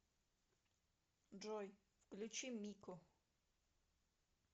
джой включи мику